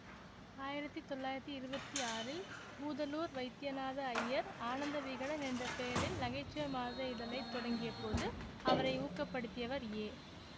ஆயிரத்தி தொள்ளாயிரத்தி இருபத்தி ஆறில் பூதலூர் வைத்தியநாத ஐயர் ஆனந்த விகடன் என்ற பெயரில் நகைச்சுவை மாத இதழை தொடங்கியபோது அவரை ஊக்கப்படுத்தியவர் ஏ